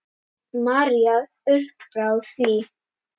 María uppfrá því.